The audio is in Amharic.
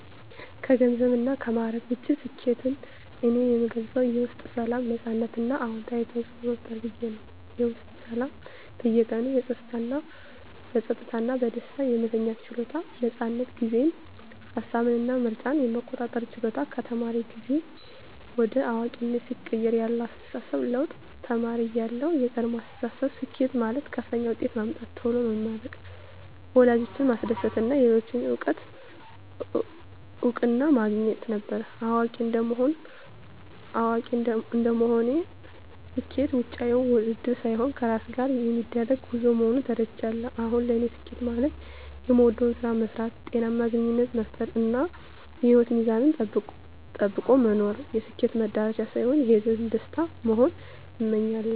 ከገንዘብና ከማዕረግ ውጭ፣ ስኬትን እኔ የምገልጸው የውስጥ ሰላም፣ ነፃነት እና አዎንታዊ ተፅዕኖ መፍጠር ብዬ ነው። -የውስጥ ሰላም በየቀኑ በጸጥታ እና በደስታ የመተኛት ችሎታ። ነፃነት ጊዜን፣ ሃሳብን እና ምርጫን የመቆጣጠር ችሎታ -ከተማሪ ጊዜ ወደ አዋቂነት ሲቀየር ያለው አስተሳሰብ ለውጥ -ተማሪ እያለሁ (የቀድሞ አስተሳሰብ)፦ ስኬት ማለት ከፍተኛ ውጤት ማምጣት፣ ቶሎ መመረቅ፣ ወላጆችን ማስደሰት እና የሌሎችን እውቅና ማግኘት ነበር። አዋቂ እንደመሆኔ (አሁን ያለው አስተሳሰብ)፦ ስኬት ውጫዊ ውድድር ሳይሆን ከራስ ጋር የሚደረግ ጉዞ መሆኑን ተረድቻለሁ። አሁን ለኔ ስኬት ማለት የምወደውን ስራ መስራት፣ ጤናማ ግንኙነት መፍጠር፣ እና የህይወት ሚዛንን ጠብቆ መኖር ነው። ስኬት "መድረሻ" ሳይሆን የሂደቱ ደስታ መሆኑን አምኛለሁ። -